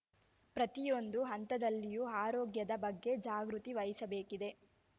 ಪ್ರತಿಯೊಂದು ಹಂತದಲ್ಲಿಯೂ ಆರೋಗ್ಯದ ಬಗ್ಗೆ ಜಾಗೃತಿ ವಹಿಸಬೇಕಿದೆ